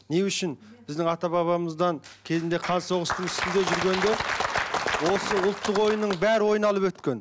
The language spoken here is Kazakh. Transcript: не үшін біздің ата бабамыздан кезінде қан соғыстың үстінде жүргенде осы ұлттық ойынның бәрі ойналып өткен